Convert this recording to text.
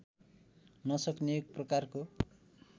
नसक्ने एक प्रकारको